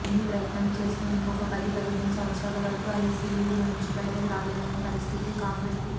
ఎన్ని ప్రయత్నాలు చేసినా ఇంకొక పది పదిహేను సంవత్సరాల వరకూ ఐసీయూ లోంచి బయటకి రాలేని పరిస్థితి కాంగ్రెస్ ది